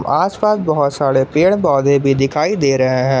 आसपास बहुत सारे पेड़ पौधे भी दिखाई दे रहे हैं।